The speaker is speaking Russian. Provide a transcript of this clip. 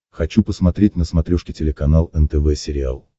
хочу посмотреть на смотрешке телеканал нтв сериал